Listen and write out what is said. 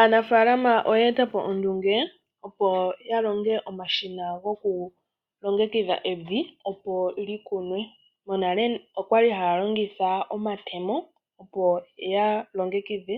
Aanafaalama oyeetapo ondunge opo yalonge omashina goku longekidha evi opo likunwe, monale okwali haya longitha omatemo opo yalongekidhe